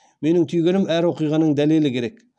менің түйгенім әр оқиғаның дәлелі керек